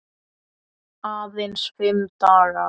Aðeins fimm dagar.